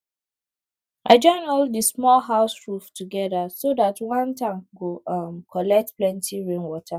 i join all the small house roof together so dat one tank go um collect plenty rainwater